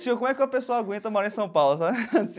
Como é que uma pessoa aguenta morar em São Paulo?